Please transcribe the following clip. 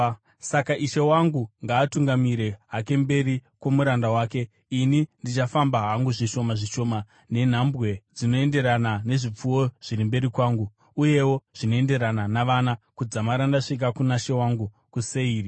Saka ishe wangu ngaatungamire hake mberi kwomuranda wake, ini ndichifamba hangu zvishoma zvishoma nenhambwe dzinoenderana nezvipfuwo zviri mberi kwangu, uyewo zvinoenderana navana, kudzamara ndasvika kuna she wangu kuSeiri.”